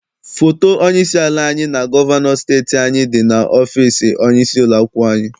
Foto onye isi ala anyị na gọvanọ steeti anyị dị n'ọfịịsi onye isi ụlọakwụkwọ anyị.